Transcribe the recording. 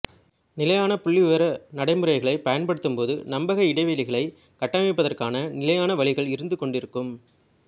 நிலையான புள்ளிவிவர நடைமுறைகளைப் பயன்படுத்தும்போது நம்பக இடைவெளிகளைக் கட்டமைப்பதற்கான நிலையான வழிகள் இருந்துகொண்டிருக்கும்